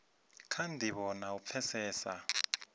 kha ndivho na u pfesesa